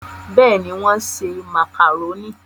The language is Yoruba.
bẹ́ẹ̀ni, wọ́n ṣe màkàrónì